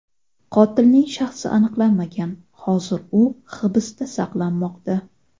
Qotilning shaxsi aniqlanmagan, hozir u hibsda saqlanmoqda.